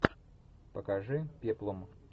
покажи пеплом